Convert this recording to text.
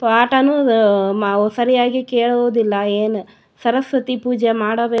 ತ್ವೋಟನು ಸರಿಯಾಗಿ ಕೇಳುವುದಿಲ್ಲ ಏನ್ ಸರಸ್ವತಿ ಪೂಜೆ ಮಾಡಬೇಕು --